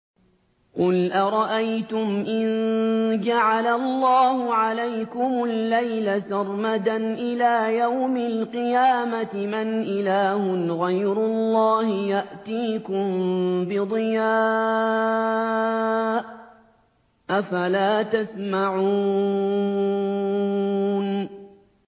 قُلْ أَرَأَيْتُمْ إِن جَعَلَ اللَّهُ عَلَيْكُمُ اللَّيْلَ سَرْمَدًا إِلَىٰ يَوْمِ الْقِيَامَةِ مَنْ إِلَٰهٌ غَيْرُ اللَّهِ يَأْتِيكُم بِضِيَاءٍ ۖ أَفَلَا تَسْمَعُونَ